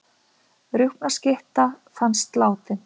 Rjúpnaskytta fannst látin